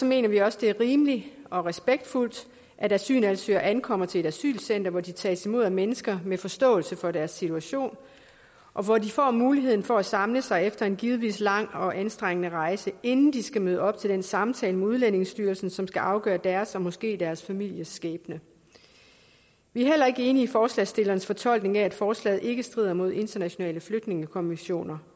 mener vi også det er rimeligt og respektfuldt at asylansøgere ankommer til et asylcenter hvor de tages imod af mennesker med forståelse for deres situation og hvor de får mulighed for at samle sig efter en givetvis lang og anstrengende rejse inden de skal møde op til den samtale med udlændingestyrelsen som skal afgøre deres og måske deres families skæbne vi er heller ikke enige i forslagsstillernes fortolkning nemlig at forslaget ikke strider mod internationale flygtningekonventioner